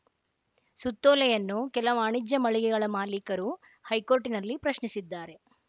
ಸುತ್ತೋಲೆಯನ್ನು ಕೆಲ ವಾಣಿಜ್ಯ ಮಳಿಗೆಗಳ ಮಾಲೀಕರು ಹೈಕೋರ್ಟ್‌ನಲ್ಲಿ ಪ್ರಶ್ನಿಸಿದ್ದಾರೆ